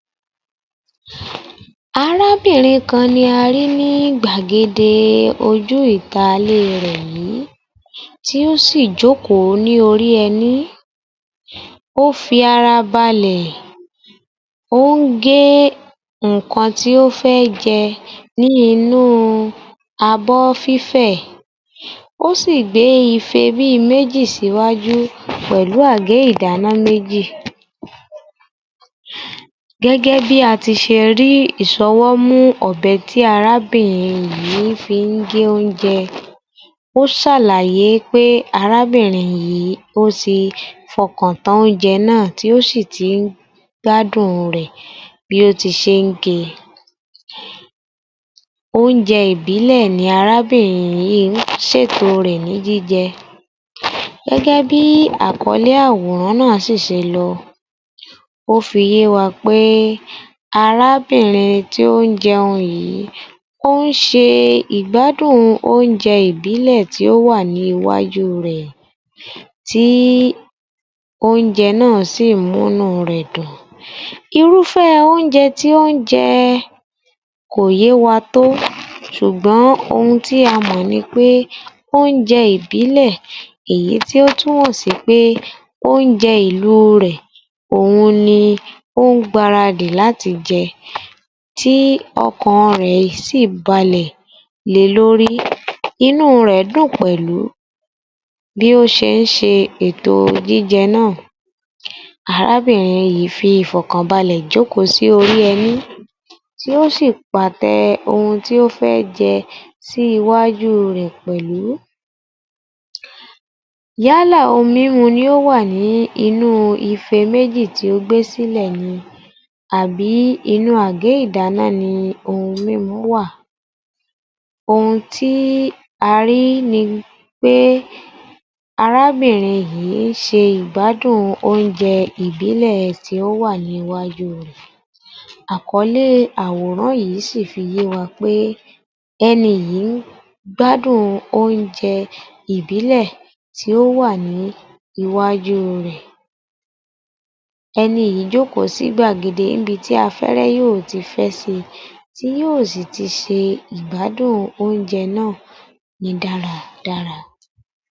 23_ _yoruba_yor_f_518_AG00034 Arábìnrin kan ni a rí ní gbàgede e ojú ìta ilé rẹ̀ yì í. Tí ó sì ì jókòó ní orí ẹní. Ó fi ara balẹ̀, ó ń gé ǹǹkan tí ó fẹ́ jẹ ní inú u abọ́ fífẹ̀, ó sì ì gbé ife méjì síwájú pẹ̀lú àgé ìdáná méjì. Gẹ́gẹ́ bí a ti se e rí ìsọwọ́mú ọ̀bẹ tí arábìnrin yì í fi ń gé oúnjẹ, ó sàlàyé pé arábìnrin yì í o ti fọkàn tán oúnjẹ ná à tí ó sì ti ń gbádùn-un rẹ̀ bí ó ti ṣe é ń ge e. Oúnjẹ ìbílẹ̀ ni arábìnrin yì í ń ṣètò rẹ̀ ní jíjẹ. Gẹ́gẹ́ bí àkọ́lé àwòrán ná à ṣí ì ṣe lọ, ó fi yé wa pé arábìnrin tí ó ń jẹun yì í, ó ń ṣe ìgbádùn oúnjẹ ìbílẹ̀ tì ó wà ní iwáajú rẹ̀ tí oúnjẹ ná à sí ì mú'nú rẹ̀ dùn. Irúfẹ́ ẹ oúnjẹ tì ó ń jẹ ẹ kò yé wa tó, sùgbọ́n ohun tí a mọ̀ ni pé oúnjẹ ìbílẹ̀ èyí tí ó túmọ̀ sí pé oúnjẹ ìlu rẹ̀, óun ni ó ń gbaradì láti jẹ ẹ, tí ọkàn rẹ̀ sí ì balẹ̀ le lórí. Inú rẹ̀ dún pẹ̀lú bí ó ṣe ń ṣe èto jíjẹ ná à. Arábìnrin yì í fi ìfọ̀kàn balẹ̀ jókòó sí orí ẹní, tí ó sì ì pàtẹ ohun tí ó fẹ́ jẹ́ sí iwáájú rẹ̀ pẹ̀lú. Yálà ohun mímu ni ó wà nínú ife méjì tí ó gbé sílẹ̀ ni àbí inú àgé ìdáná ni ohun mímu wà. Ohun tí a rí ni pé arábìnrin yì í ń ṣe ìgbádùn oúnjẹ ìbílẹ̀ tì ó wà ní iwájú rẹ̀. Àkọlé àwòrán yì í sì ì fi yé wa pé é ẹni yÌ í ń gbádùn oúnjẹ ìbílẹ̀ tì ó wà ní iwáajú rẹ̀. Éni yì í jókòó sí gbàgede ní'bi tí afẹ́ẹ́rẹ́ yó ò ti fé sí i, tí yó o si ti ṣe ìgbádùn oúnjẹ ná à ní dáradára.